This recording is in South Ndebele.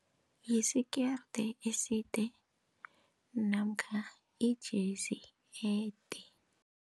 Yisikerde eside namkha ijesi.